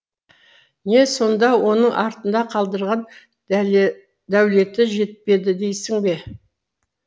не сонда оның артында қалдырған дәулеті жетпеді дейсің бе